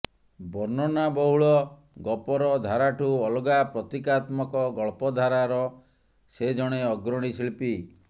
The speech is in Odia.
ବର୍ଣ୍ଣନା ବହୁଳ ଗପର ଧାରାଠୁ ଅଲଗା ପ୍ରତୀକାତ୍ମକ ଗଳ୍ପଧାରାର ସେ ଜଣେ ଅଗ୍ରଣୀ ଶିଳ୍ପୀ